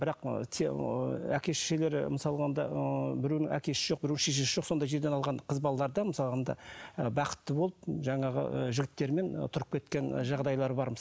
бірақ ыыы ыыы әке шешелері мысалға алғанда ыыы біреуінің әкесі жоқ біреуінің шешесі жоқ сондай жерден алған қыз балалар да мысалы алғанда бақытты болып жаңағы ы жігіттерімен тұрып кеткен жағдайлары бар